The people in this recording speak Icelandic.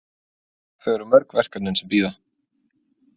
Þau eru mörg verkefnin sem bíða.